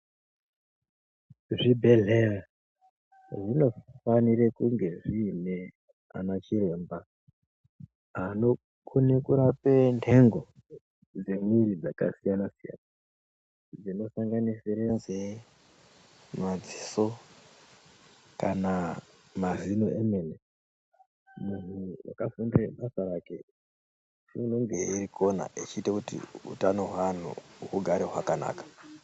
Zvibhehlera zvinofanire kunge zviine ana chiremba anokone kurape nhengo dzemwiri dzakasiyana-siyana dzinosanganisire nzee, madziso kana mazino emene. Munhu wakafundire basa rake unenge eikona echiite kuti utano hweanhu hugare hwakanaka.